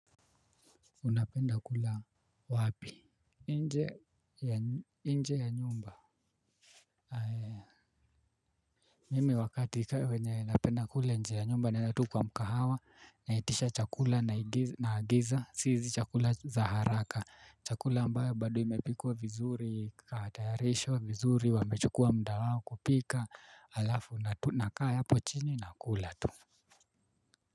Unapenda kula wapi nje ya nyumba. Ae Mimi wakati ka cenye napenda kula nje ya nyumba naenda tu kwa mkahawa. Naitisha chakula naagiza si hizi chakula za haraka. Chakula ambayo bado imepikwa vizuri ikatayarishwa vizuri wamechukua muda wao kupika alafu na tunakaa hapo chini na kula tu.